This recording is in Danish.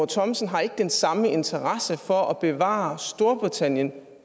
thomsen har ikke den samme interesse for at bevare storbritannien